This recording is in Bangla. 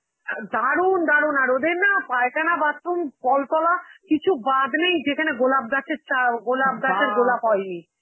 অ্যাঁ দারুন, দারুন, আর ওদের না পায়খানা, bathroom, কলতলা কিছু বাদ নেই যেখানে গোলাপ গাছের চা~ অ্যাঁ গোলাপ গাছে গোলাপ হয়নি,